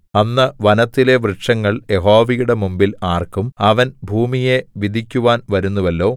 അന്ന് വനത്തിലെ വൃക്ഷങ്ങൾ യഹോവയുടെ മുമ്പിൽ ആർക്കും അവൻ ഭൂമിയെ വിധിക്കുവാൻ വരുന്നുവല്ലോ